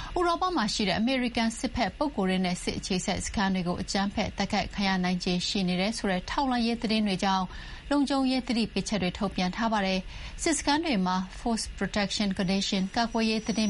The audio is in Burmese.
'ဥရောပမှာရှိတဲ့အမေရိကန်စစ်ဘက်ပုဂ္ဂိုလ်တွေနဲ့ စစ်အခြေစိုက်စခန်းတွေ အကြမ်းဖက်တိုက်ခိုက်ခံရနိုင်ခြေရှိနေတယ်' ဆိုတဲ့ထောက်လှမ်းရေးသတင်းတွေကြောင့် လုံခြုံရေးသတိပေးချက်တွေ ထုတ်ပြန်ထားပါတယ်။ စစ်စခန်းတွေမှာ Force Protection Condition ကာကွယ်ရေးသတိ